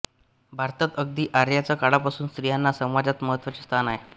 भारतात अगदी आर्यांच्या काळापासून स्त्रियांना समाजात महत्त्वाचे स्थान आहे